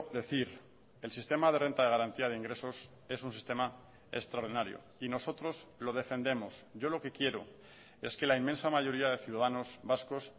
decir el sistema de renta de garantía de ingresos es un sistema extraordinario y nosotros lo defendemos yo lo que quiero es que la inmensa mayoría de ciudadanos vascos